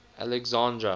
alexandra